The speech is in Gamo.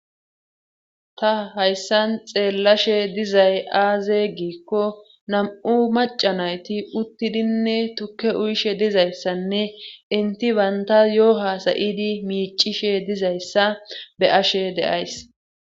Ta hayssan xeellashe dizay aaze giikko nam7u macanayti uttidinne tukke uyshe dizayssanne inti baynta yoo hasayidi miicishe dizayssa be ashe deays